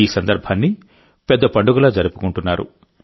ఈ సందర్భాన్ని పెద్ద పండుగలా జరుపుకుంటున్నారు